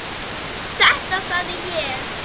Þetta sagði ég.